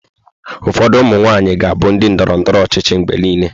Ụfọdụ ụmụ nwaanyị ga-abụ ndị ndọrọ ndọrọ ọchịchị mgbe niile.